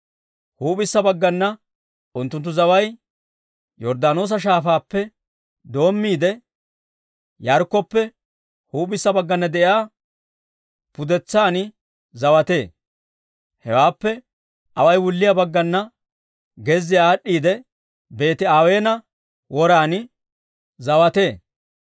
Huup'issa baggana unttunttu zaway Yorddaanoosa Shaafaappe doommiide, Yaarikkoppe huup'issa baggana de'iyaa pudetsan zawatee; hewaappe away wulliyaa baggana gezziyaa aad'd'iidde, Beeti-Aweena woran zawatee.